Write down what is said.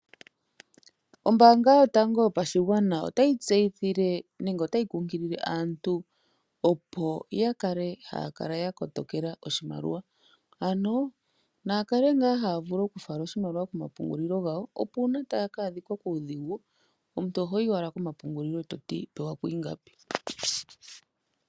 Ombanga yotango yopashigwana otayi tseyithile nenge tayi kunkilile aantu opo yakale yakotokela oshimali ano naakale ngaa haya vulu okufala oshimaliwa komapungulilo gawo opo uuna taya adhika kuudhigu omuntu ohoyi owala pomapungulilo ee toti pewako ingapi.